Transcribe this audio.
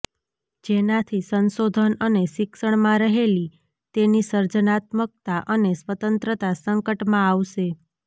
જેનાથી સંશોધન અને શિક્ષણમાં રહેલી તેની સર્જનાત્મકતા અને સ્વતંત્રતા સંકટમાં આવશે